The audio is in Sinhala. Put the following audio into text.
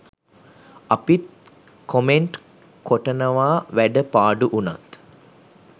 අපිත් කොමෙන්ට් කොටනවා වැඩ පාඩු උනත්.